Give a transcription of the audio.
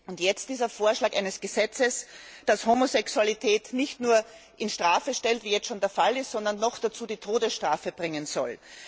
Und jetzt dieser Vorschlag eines Gesetzes, das Homosexualität nicht nur unter Strafe stellt, wie es jetzt schon der Fall ist, sondern noch dazu die Todesstrafe bringen soll.